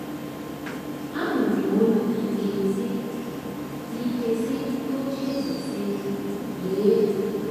Anụrụ m olu dị ike si dị ike si n’oche eze sị: “Lee!”